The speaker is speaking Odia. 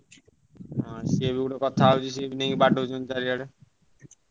ହାଁ ସିଏବି ଗୋଟେ କଥା ବାଡଉଛନ୍ତି ନେଇ ଚାରିଆଡେ।